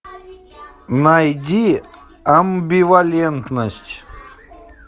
найди амбивалентность